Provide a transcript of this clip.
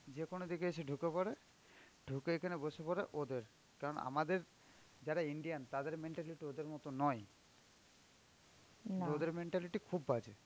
যেকোনো দিকে এসে ঢুকে পড়ে, ঢুকে এখানে বসে পড়ে ওদের, কারন আমাদের যারা Indian তাদের mentality ওদের মতন নয়. ওদের mentality খুব বাজে.